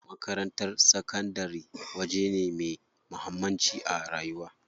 Makarantar sakandari waje ne me muhammanci a rayuwa.